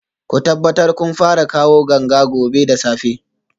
Ku tabbata kun fara kawo ganga gobe da safe